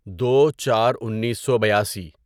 دو چار انیسو بیاسی